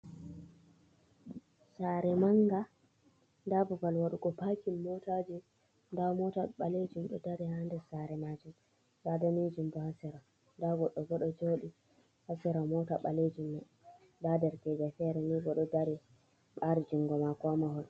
saare mannga nda babal waɗugo pakin motaaji nda moota ɓaleejum ɗo dari haa nder saare maajum bee daneejum boo haa sera ndaa goɗɗo bo ɗo jodi haa seera moota ɓaleejum nda derekeejo feere ni bo ɗo dari ɓaari junngo maako haa mahol